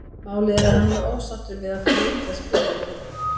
Málið er það að hann var ósáttur við að fá lítið að spila í fyrra.